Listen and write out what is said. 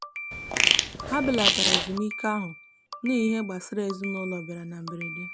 ha belatara ezumike ahụ n'ihi ihe gbasara ezinụụlọ bịara na mberede.